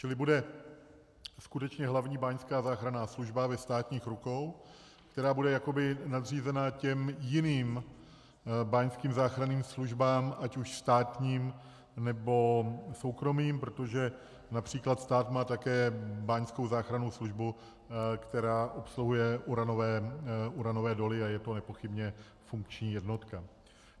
Čili bude skutečně Hlavní báňská záchranná služba ve státních rukou, která bude jakoby nadřízena těm jiným báňským záchranným službám, ať už státním, nebo soukromým, protože například stát má také báňskou záchrannou službu, která obsluhuje uranové doly, a je to nepochybně funkční jednotka.